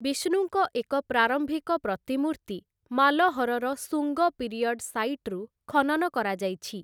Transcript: ବିଷ୍ଣୁଙ୍କ ଏକ ପ୍ରାରମ୍ଭିକ ପ୍ରତିମୂର୍ତ୍ତି ମାଲହରର ଶୁଙ୍ଗ ପିରିୟଡ୍ ସାଇଟ୍‌ରୁ ଖନନ କରାଯାଇଛି ।